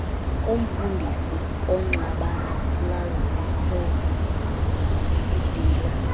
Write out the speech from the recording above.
komfundisi ungxabalazile ebhila